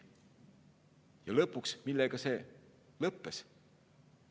Ja millega see lõppes?